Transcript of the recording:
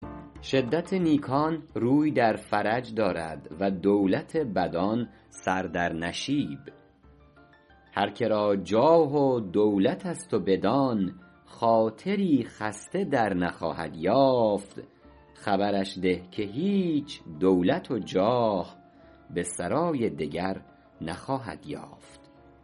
شدت نیکان روی در فرج دارد و دولت بدان سر در نشیب هر که را جاه و دولت است و بدان خاطری خسته در نخواهد یافت خبرش ده که هیچ دولت و جاه به سرای دگر نخواهد یافت